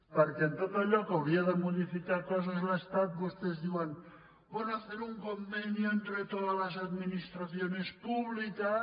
perquè en tot allò que hauria de modificar coses l’estat vostès diuen bueno hacer un convenio entre todas las administraciones públicas